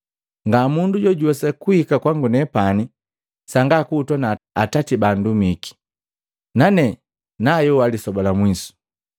Ngamundu jojuwesa kuhika kwangu nepani, sanga kuhutwa na Atati bandumiki, nane nayoha lisoba la mwiso.